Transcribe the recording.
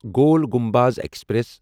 Gol Gumbaz express